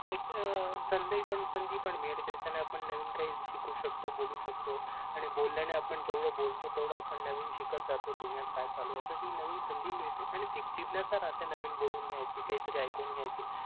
एक संधी संधी पण मिळेल कि आपण नवीन काही शिकू शकतो बोलू शकतो आणि बोलल्यान आपण जेवढ बोलतो तेवढ आपण नवीन शिकत जातो दुनियात काय चालू आहे असी हि नवीन संधी पण मिळते आणि ती जिद्नाष्य राहते नवीन बोलून घ्यायची काहीतर ऐकून घ्यायची